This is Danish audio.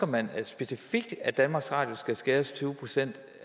man specifikt ønsker at danmarks radio skal skæres tyve procent